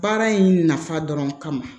Baara in nafa dɔrɔn kama